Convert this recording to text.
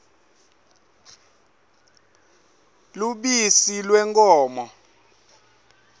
lubisi lwenkhomo